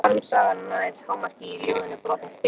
Harmsagan nær hámarki í ljóðinu Brotinn spegill.